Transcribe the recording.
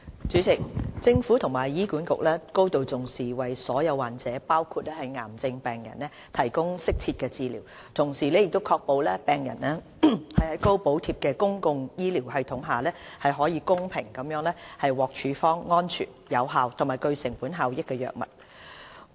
主席，政府和醫院管理局高度重視為所有患者，包括癌症病人，提供適切治療，同時確保病人在高補貼的公共醫療系統下，可公平地獲處方安全、有效和具成本效益的藥物。